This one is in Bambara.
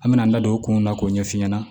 An mɛna an da don o kun na k'o ɲɛf'i ɲɛna